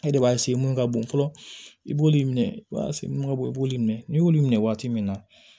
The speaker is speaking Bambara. E de b'a mun ka bon fɔlɔ i b'olu minɛ i b'a mun ka bɔ i b'olu minɛ n'i y'olu minɛ waati min na